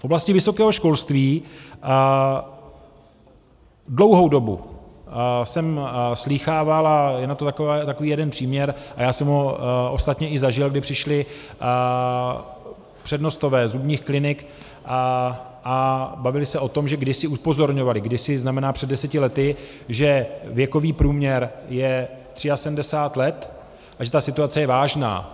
V oblasti vysokého školství dlouhou dobu jsem slýchával, a je na to takový jeden příměr a já jsem ho ostatně i zažil, kdy přišli přednostové zubních klinik a bavili se o tom, že kdysi upozorňovali - kdysi znamená před deseti lety - že věkový průměr je 73 let a že ta situace je vážná.